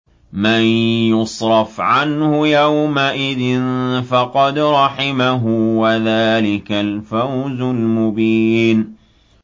مَّن يُصْرَفْ عَنْهُ يَوْمَئِذٍ فَقَدْ رَحِمَهُ ۚ وَذَٰلِكَ الْفَوْزُ الْمُبِينُ